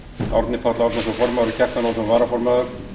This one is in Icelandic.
árni páll árnason formaður og kjartan ólafsson varaformaður